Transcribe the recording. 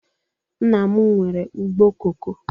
Nna m nwere ugbo koko